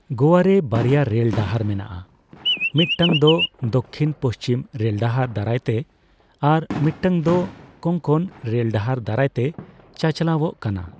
ᱜᱳᱣᱟᱨᱮ ᱵᱟᱨᱭᱟ ᱨᱮᱞ ᱰᱟᱦᱟᱨ ᱢᱮᱱᱟᱜᱼᱟ, ᱢᱤᱫᱴᱟᱝ ᱫᱚ ᱫᱚᱠᱠᱷᱤᱱ ᱯᱩᱪᱷᱤᱢ ᱨᱮᱞᱰᱟᱦᱟᱨ ᱫᱟᱨᱟᱭᱛᱮ ᱟᱨ ᱢᱤᱫᱴᱟᱝ ᱫᱚ ᱠᱳᱝᱠᱚᱱ ᱨᱮᱞᱰᱟᱦᱟᱨ ᱫᱟᱨᱟᱭ ᱛᱮ ᱪᱟᱪᱞᱟᱣᱚᱜ ᱠᱟᱱᱟ ᱾